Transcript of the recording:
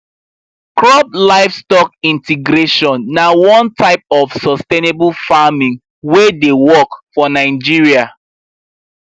crop livestock integration na one type of sustainable farming wey dey work for nigeria